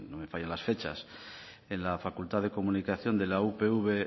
mal no me fallan las fechas en la facultad de comunicación de la upv